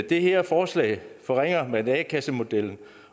det her forslag forringer man a kassemodellen